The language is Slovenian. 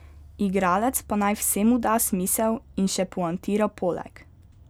Igralec pa naj vsemu da smisel in še poantira poleg ...